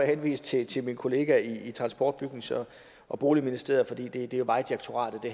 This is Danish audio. henvise til til min kollega i transport bygnings og boligministeriet fordi det jo er vejdirektoratet det